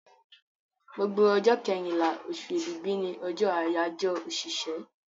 Gbogbo ọjọ́ kẹrínlá, osù èbìbí ni ọjọ́ àyáyọ́ òṣìṣẹ́